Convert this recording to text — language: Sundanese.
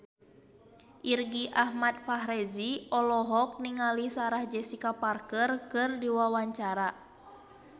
Irgi Ahmad Fahrezi olohok ningali Sarah Jessica Parker keur diwawancara